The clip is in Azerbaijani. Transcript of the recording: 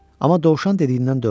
Amma dovşan dediyindən dönmədi.